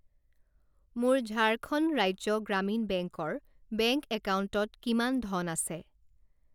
মোৰ ঝাৰখণ্ড ৰাজ্য গ্ৰামীণ বেংক ৰ বেংক একাউণ্টত কিমান ধন আছে?